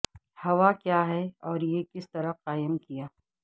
ہوا کیا ہے اور یہ کس طرح قائم کیا